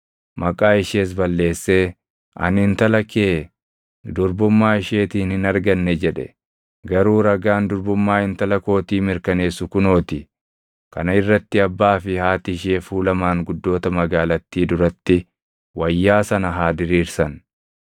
Maqaa ishees balleessee, ‘Ani intala kee durbummaa isheetiin hin arganne’ jedhe. Garuu ragaan durbummaa intala kootii mirkaneessu kunoo ti.” Kana irratti abbaa fi haati ishee fuula maanguddoota magaalattii duratti wayyaa sana haa diriirsan;